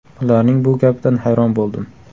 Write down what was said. Ularning bu gapidan hayron bo‘ldim.